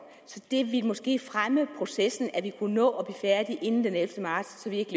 det ville måske fremme processen at vi kunne nå at blive færdige inden den ellevte marts så vi ikke